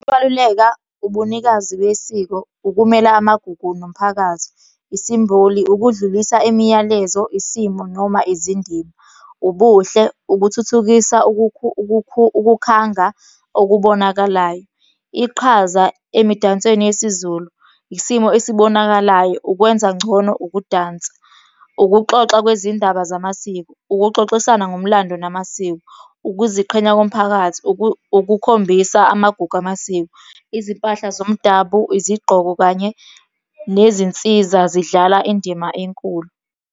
Ukubaluleka, ubunikazi besiko, ukumela amagugu nomphakathi, isimboli, ukudlulisa imiyalezo, isimo noma izindima, ubuhle, ukuthuthukisa ukukhanga okubonakalayo, iqhaza emidansweni yesizulu, isimo esibonakalayo, ukwenza ngcono ukudansa, ukuxoxa kwezindaba zamasiko, ukuxoxisana ngomlando namasiko, ukuziqhenya komphakathi, ukukhombisa amagugu amasiko, izimpahla zomdabu, izigqoko kanye nezinsiza zidlala indima enkulu.